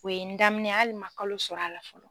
O ye n daminɛ ye hali n man kalo sɔrɔ a la fɔlɔ.